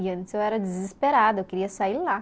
E antes eu era desesperada, eu queria sair lá.